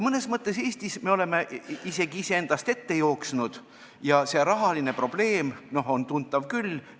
Mõnes mõttes me oleme Eestis isegi iseendast ette jooksnud ja rahaline probleem on tuntav küll.